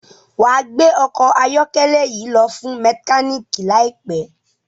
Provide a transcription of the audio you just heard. wá gbé ọkọ ayọkẹlẹ yí lo fún mekaniki láìpé